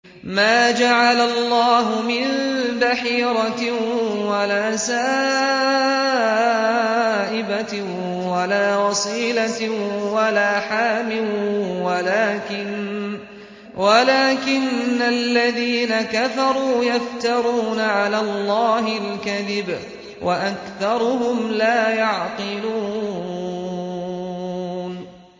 مَا جَعَلَ اللَّهُ مِن بَحِيرَةٍ وَلَا سَائِبَةٍ وَلَا وَصِيلَةٍ وَلَا حَامٍ ۙ وَلَٰكِنَّ الَّذِينَ كَفَرُوا يَفْتَرُونَ عَلَى اللَّهِ الْكَذِبَ ۖ وَأَكْثَرُهُمْ لَا يَعْقِلُونَ